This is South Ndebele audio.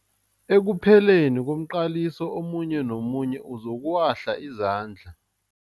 Ekupheleni komqaliso omunye nomunye uzokuwahla izandla.